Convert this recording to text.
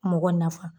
Mɔgɔ nafa